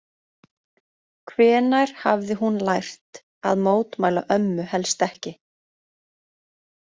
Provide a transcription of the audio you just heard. Hvenær hafði hún lært að mótmæla ömmu helst ekki?